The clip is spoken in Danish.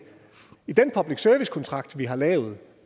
i den public service kontrakt vi har lavet